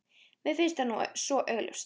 Mér finnst það nú svo augljóst.